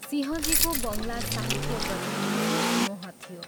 सिंहजीको बङ्गला साहित्यप्रति विशेष मोह थियो।